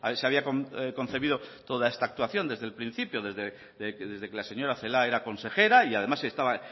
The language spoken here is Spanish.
se había concebido toda esta actuación desde el principio desde que la señora celaa era consejera y además estaba